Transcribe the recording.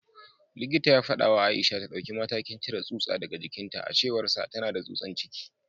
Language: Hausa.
Likitan ya fada wa Aisha ta dauki matakin cire tsutsa daga jikinta; a cewarsa, tana da tsutsan ciki